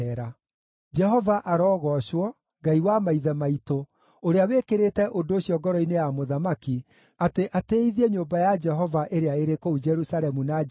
Jehova arogoocwo, Ngai wa maithe maitũ, ũrĩa wĩkĩrĩte ũndũ ũcio ngoro-inĩ ya mũthamaki, atĩ atĩĩithie nyũmba ya Jehova ĩrĩa ĩrĩ kũu Jerusalemu na njĩra ĩno,